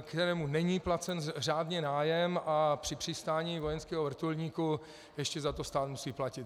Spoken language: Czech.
kterému není placen řádně nájem, a při přistání vojenského vrtulníku ještě za to stát musí platit.